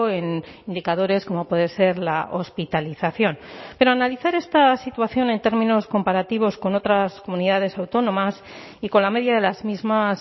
en indicadores como puede ser la hospitalización pero analizar esta situación en términos comparativos con otras comunidades autónomas y con la media de las mismas